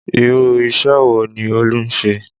Irú isẹ wo ni Olú ń ṣe?